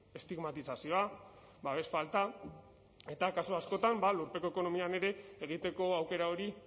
estigmatizazioa babes falta eta kasu askotan lurpeko ekonomian ere egiteko aukera hori